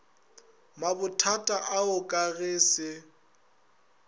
mabothata ao ka ge se